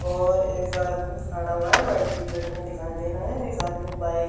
और एक आदमी खड़ा हुआ है व्हाइट टी-शर्ट में दिखाई दे रहा है एक आदमी बाइक --